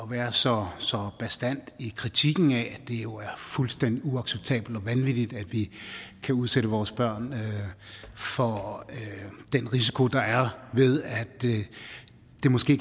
være så så bastant i kritikken af at det jo er fuldstændig uacceptabelt og vanvittigt at vi kan udsætte vores børn for den risiko der er måske